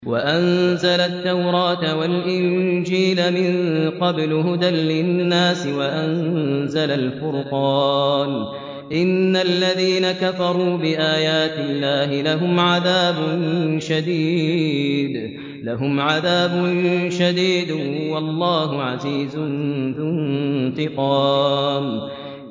مِن قَبْلُ هُدًى لِّلنَّاسِ وَأَنزَلَ الْفُرْقَانَ ۗ إِنَّ الَّذِينَ كَفَرُوا بِآيَاتِ اللَّهِ لَهُمْ عَذَابٌ شَدِيدٌ ۗ وَاللَّهُ عَزِيزٌ ذُو انتِقَامٍ